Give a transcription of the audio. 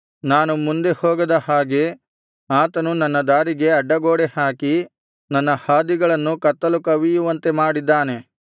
ನಾನು ಮುಂದೆ ಹೋಗದ ಹಾಗೆ ಆತನು ನನ್ನ ದಾರಿಗೆ ಅಡ್ಡಗೋಡೆ ಹಾಕಿ ನನ್ನ ಹಾದಿಗಳನ್ನು ಕತ್ತಲು ಕವಿಯುವಂತೆ ಮಾಡಿದ್ದಾನೆ